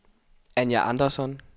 Anja Andersson